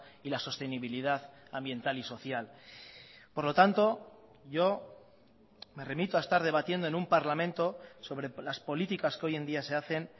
y la sostenibilidad ambiental y social por lo tanto yo me remito a estar debatiendo en un parlamento sobre las políticas que hoy en día se hacen